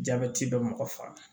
Jabɛti bɛ mɔgɔ faga